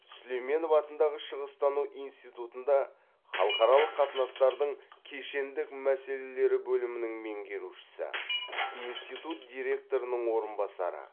сүлейменов атындағы шығыстану институтында халықаралық қатынастардың кешендік мәселелері бөлімінің меңгерушісі институт директорының орынбасары